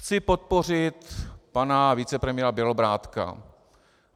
Chci podpořit pana vicepremiéra Bělobrádka.